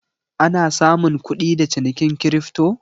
Ana samun kudi da cinikin kirifto?